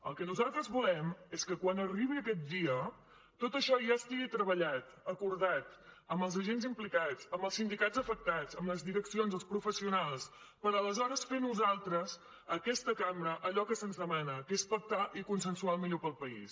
el que nosaltres volem és que quan arribi aquest dia tot això ja estigui treballat acordat amb els agents implicats amb els sindicats afectats amb les direccions els professionals per aleshores fer nosaltres aquesta cambra allò que se’ns demana que és pactar i consensuar el millor per al país